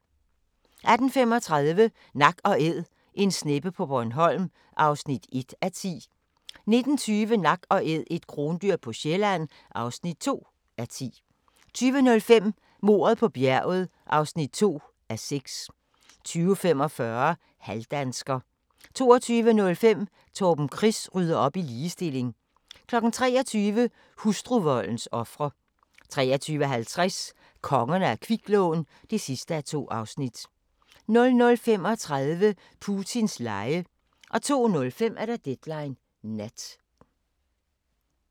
18:35: Nak & Æd – en sneppe på Bornholm (1:10) 19:20: Nak & Æd – et krondyr på Sjælland (2:10) 20:05: Mordet på bjerget (2:6) 20:45: Halvdansker 22:05: Torben Chris rydder op i ligestilling 23:00: Hustruvoldens ofre 23:50: Kongerne af kviklån (2:2) 00:35: Putins lege 02:05: Deadline Nat